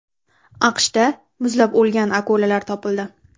AQShda muzlab o‘lgan akulalar topildi.